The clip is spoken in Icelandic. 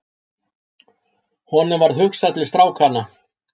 Honum varð hugsað til strákanna.